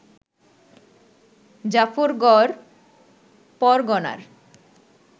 জাফরগড় পরগনার